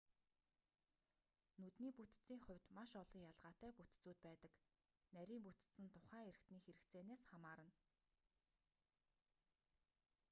нүдний бүтэцийн хувьд маш олон ялгаатай бүтэцүүд байдаг нарийн бүтэц нь тухайн эрхтэний хэрэгцээнээс хамаарна